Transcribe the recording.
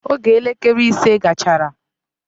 Oge elekele ise gachara.